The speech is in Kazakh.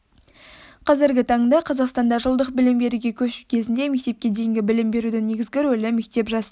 қазіргі таңда қазақстанда жылдық білім беруге көшу кезінде мектепке дейінгі білім берудің негізгі рөлі мектеп жасына